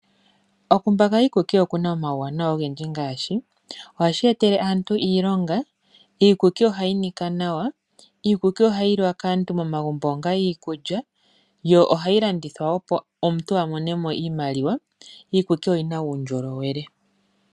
Okumbaka iikuki oku na omauwanawa ogendji ngaashi: ohashi etele aantu iilonga, iikuki ohayi nika nawa, iikuki ohayi liwa kaantu momagumbo onga iikulya, yo ohayi landithwa, opo omuntu a mone mo iimaliwa, iikuki oyi na uundjolowele.